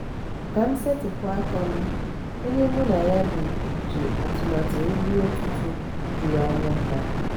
ka m esetipu aka m onye mụ na ya bi ji atụmatụ nri ụtụtụ jụrụ anya bata